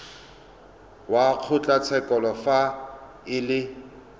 wa kgotlatshekelo fa e le